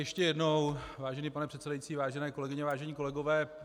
Ještě jednou, vážený pane předsedající, vážené kolegyně, vážení kolegové.